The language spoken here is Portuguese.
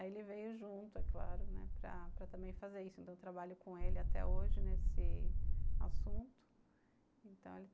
Aí ele veio junto, é claro, né, para para também fazer isso, então eu trabalho com ele até hoje nesse assunto. Então ele